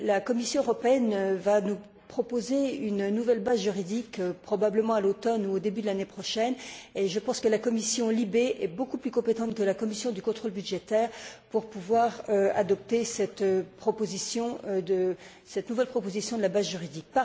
La Commission européenne nous proposera une nouvelle base juridique, probablement à l'automne ou au début de l'année prochaine. Je pense que la commission LIBE est beaucoup plus compétente que la commission du contrôle budgétaire pour adopter cette nouvelle proposition de base juridique.